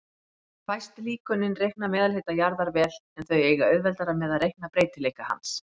Fæst líkönin reikna meðalhita jarðar vel, en þau eiga auðveldara með að reikna breytileika hans.